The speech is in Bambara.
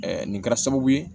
nin kɛra sababu ye